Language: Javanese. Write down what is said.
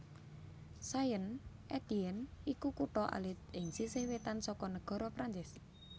Saint Étienne iku kutha alit ing sisih wétan saka nagara Prancis